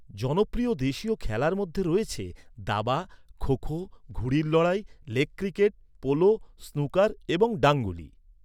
জনপ্রিয় দেশীয় খেলার মধ্যে রয়েছে দাবা, খো খো, ঘুড়ির লড়াই, লেগ ক্রিকেট, পোলো, স্নুকার এবং ডাংগুলি।